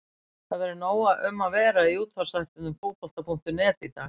Það verður nóg um að vera í útvarpsþættinum Fótbolta.net í dag.